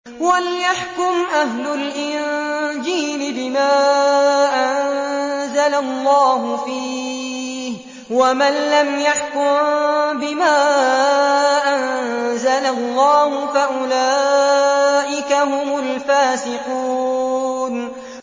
وَلْيَحْكُمْ أَهْلُ الْإِنجِيلِ بِمَا أَنزَلَ اللَّهُ فِيهِ ۚ وَمَن لَّمْ يَحْكُم بِمَا أَنزَلَ اللَّهُ فَأُولَٰئِكَ هُمُ الْفَاسِقُونَ